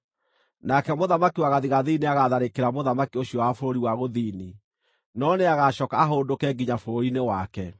Nake mũthamaki wa gathigathini nĩagatharĩkĩra mũthamaki ũcio wa bũrũri wa gũthini, no nĩagacooka ahũndũke nginya bũrũri-inĩ wake.